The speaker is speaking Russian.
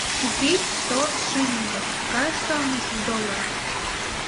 купить сто шиллингов какая стоимость в долларах